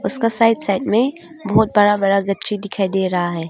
उसका side side में बहुत बड़ा बड़ा गछी दिखाई दे रहा है।